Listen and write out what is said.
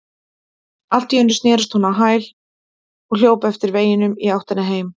Allt í einu snerist hún á hæli og hljóp eftir veginum í áttina heim.